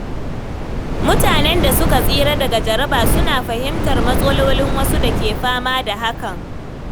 Mutanen da suka tsira daga jaraba suna fahimtar matsalolin wasu da ke fama da hakan.